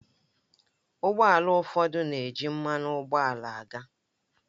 Ụgbọ ala ụfọdụ na-eji mmanụ ụgbọala aga